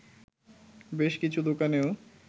বেশ কিছু দোকানেও